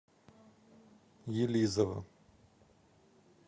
елизово